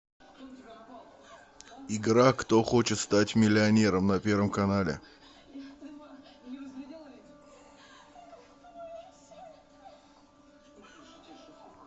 игра кто хочет стать миллионером на первом канале